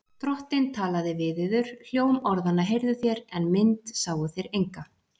Drottinn talaði við yður. hljóm orðanna heyrðuð þér, en mynd sáuð þér enga.